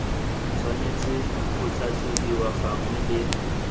tshwanetse go tlhatlhobiwa gangwe le